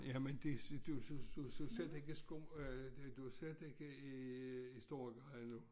Jamen det så du så du så slet ikke i øh du slet ikke i Storegade nu